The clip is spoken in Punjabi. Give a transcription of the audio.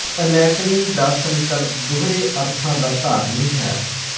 ਅਨੈਕਨੀ ਦਾ ਸੰਕਲਪ ਦੂਹਰੇ ਅਰਥਾਂ ਦਾ ਧਾਰਨੀ ਹੈ